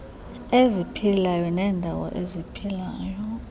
eziphilayo neendawo eziphila